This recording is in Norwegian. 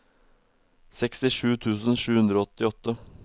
sekstisju tusen sju hundre og åttiåtte